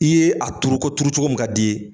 I ye a turu ko turu cogo min ka d'i ye